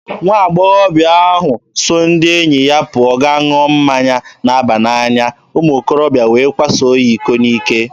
Nwa agbọghọ ahụ so ndị enyi ya pụọ gaa ṅụọ mmanya na-aba n'anya, umuokorobịa wee kwaso ya iko n'ike.